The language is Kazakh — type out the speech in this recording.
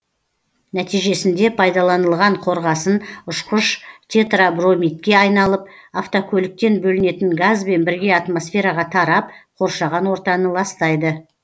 нәтижесінде пайдаланылған қорғасын ұшқыш тетрабромидке айналып автокөліктен бөлінетін газбен бірге атмосфераға тарап қоршаған ортаны ластайды